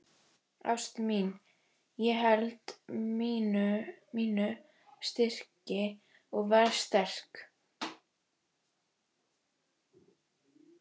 Ástin mín, ég held mínu striki og verð sterk.